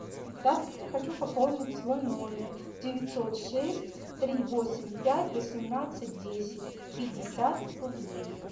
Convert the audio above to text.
здравствуйте хочу пополнить свой номер девятьсот шесть три восемь пять восемнадцать десять пятьдесят рублей